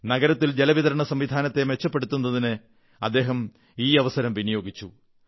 നഗരത്തിലെ ജലവിതരണസംവിധാനത്തെ മെച്ചപ്പെടുത്തുന്നതിന് അദ്ദേഹം ഈ അവസരം വിനിയോഗിച്ചു